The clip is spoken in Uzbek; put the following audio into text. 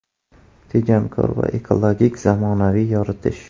Tejamkor va EKOlogik zamonaviy yoritish.